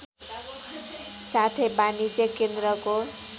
साथै वाणिज्य केन्द्रको